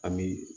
An bi